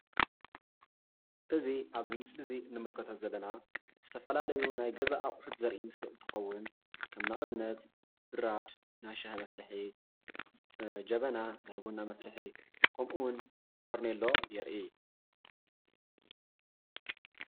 እዚ ኣብዚ ምስሊ እዚ ንከተተሎ ዘለና ዝተፈላለዩ ናይ ገዛ ኣቁሑት ዘርኢ ምስሊ እንትከዉን ከም ንኣብነት ብራድ ናይ ሻሂ መፍልሒ ጀበና ናይ ቡና መፍልሒ ከምኡ እዉን ፈርኔሎ የርኢ።